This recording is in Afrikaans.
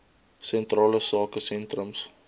sentrale sake sentrums